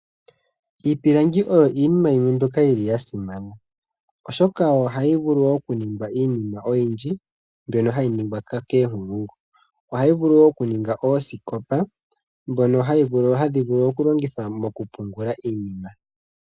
Iipilangi oyo iinima yimwe mbyoka yili ya simana oshoka ohayi vulu okuningwa iinima oyindji mbyono hayi ningwa koonkulungu. Ohayi vulu woo okuninga oosikopa ndhono hadhi vulu okulongithwa okupungula iinima